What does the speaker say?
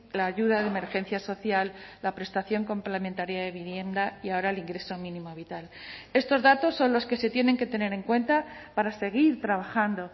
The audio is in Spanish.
la ayuda de emergencia social la prestación complementaria de vivienda y ahora el ingreso mínimo vital estos datos son los que se tienen que tener en cuenta para seguir trabajando